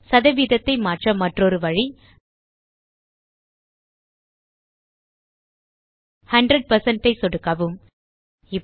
சதவீதத்தை மாற்ற மற்றொரு வழி 100 ஐ சொடுக்கவும்